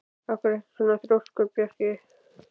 Af hverju ertu svona þrjóskur, Bjarki?